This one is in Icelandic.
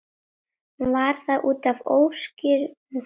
Var það útaf óskýrum fókus?